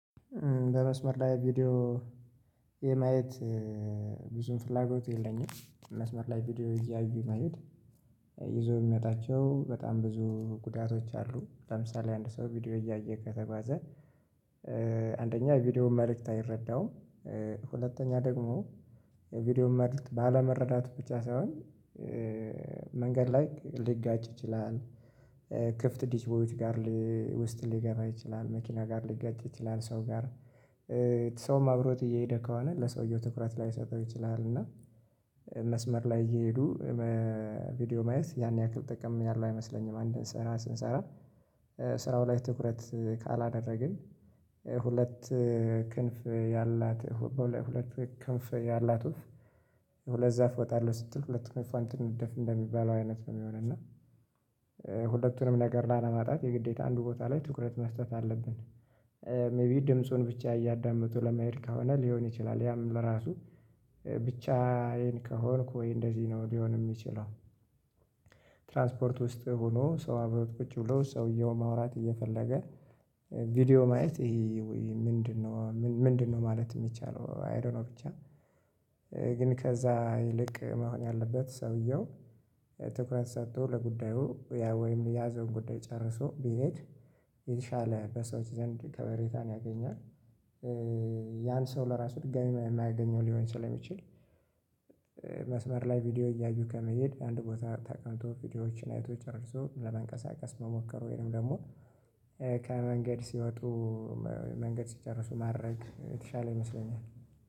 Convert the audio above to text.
በመስመር ላይ ቪዲዮ የማየት ብዙም ፍላጎት የለኝም መስመር ላይ ቪዲዮ እያዩ መሄድ ይዞ የሚመጣቸው በጣም ብዙ ጉዳቶች አሉ። ለምሳሌ አንድ ሰው ቪዲዮ እያየ ከተጓዘ። አንደኛ ቪዲዮውን መልእክት አይረዳውም። ሁለተኛ ደግሞ የቪዲዮውን መልእክት ባለመረዳቱ ብቻ ሳይሆን መንገድ ላይ ሊጋጭ ይችላል። ክፍት ዲሽ ቦይዎች ጋር ውስጥ ሊገባ ይችላል መኪና ጋር ሊጋጭ ይችላል ሰው ጋር። ሰውም አብሮት እየሄደ ከሆነ ለሰውየው ትኩረት ላይሰጠው ይችላል። እና መስመር ላይ እየሄዱ ቪዲዮ ማየት ያን ያክል ጥቅም ያለው አይመስለኝም። አንድን ስራ ስንሰራ ስራው ላይ ትኩረት ካላደረግን። ሁለት ክንፍ ያላት ሁለት ክንፍ ያላት ወፍ ሁለት ዛፍ እወጣለሁ ስትል ሁለት ክንፏን ትንደፍ እንደሚባለው አይነት ነው የሚሆነው። እና ሁለቱንም ነገር ላለማጣት የግዴታ አንዱ ቦታ ላይ ትኩረት መስጠት አለብን። ሜይቢ ድምፁን ብቻ እያዳመጡ ለመሄድ ከሆነ ሊሆን ይችላል ያም ለራሱ ብቻዬን ከሆንኩ ወይ እንደዚህ ነው ሊሆን የሚችለው። ትራንስፖርት ውስጥ ሆኖ ሰው አብረው ቁጭ ብሎ ሰውየው ማውራት እየፈለገ ቪዲዮ ማየት ይሄ ምንድነው? ምንድነው ማለት የሚቻለው? አይ ዶንት ኖ ብቻ። ግን ከዛ ይልቅ መሆን ያለበት ሰውየው ትኩረት ሰጥቶ ለጉዳዩ ያ ወይም የያዘውን ጉዳይ ጨርሶ ቢሄድ የተሻለ በሰዎች ዘንድ ከበሬታን ያገኛል። ያን ሰው ለራሱ ድጋሚ የማያገኘው ሊሆን ስለሚችል። መስመር ላይ ቪዲዮ እያዩ ከመሄድ አንድ ቦታ ተቀምጥ ቪዲዮዎችን አይቶ ጨርሶ ለመንቀሳቀስ መሞከር ወይም ደግሞ ከመንገድ ሲወጡ መንገድ ሲጨርሱ ማድረግ የተሻለ ይመስለኛል